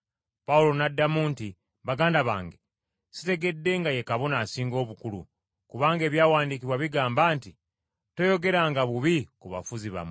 Pawulo n’addamu nti, “Baganda bange, sitegedde nga ye Kabona Asinga Obukulu, kubanga Ebyawandiikibwa bigamba nti, ‘Toyogeranga bubi ku bafuzi bammwe.’ ”